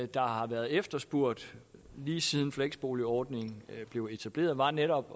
der har været efterspurgt lige siden fleksboligordningen blev etableret var netop